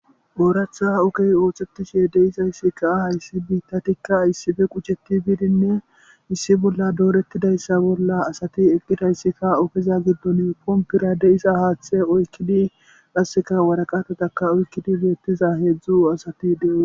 Ooratha okey oothetishe deyisayssikkaa hayssi biitta tikka yssife quchetti biidinne issi bolla doorettidayssa bolla asati eqqitayssikka okeza giddon kompira de'isa haaththe oykkidi rasseka waraqatataka oykkidi birettiza heedzdzu asati de'on